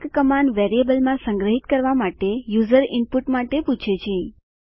ASK command વેરિયેબલમાં સંગ્રહિત કરવા માટે યુઝર ઈનપુટ માટે પૂછે છે